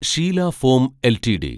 Sheela foam LTD